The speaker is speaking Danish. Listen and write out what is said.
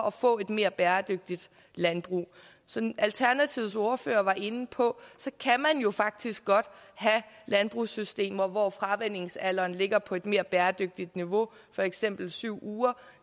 at få et mere bæredygtigt landbrug som alternativets ordfører var inde på kan man jo faktisk godt have landbrugssystemer hvor fravænningsalderen ligger på et mere bæredygtigt niveau for eksempel syv uger